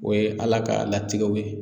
O ye Ala ka latigɛw ye